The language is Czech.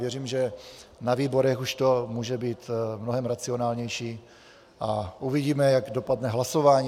Věřím, že na výborech už to může být mnohem racionálnější, a uvidíme, jak dopadne hlasování.